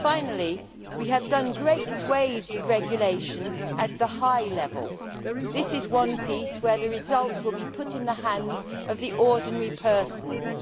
Finally, we have introduced great swathes of regulation at the higher level, but this is one piece of legislation where the result will be put in the hands of the ordinary person as it is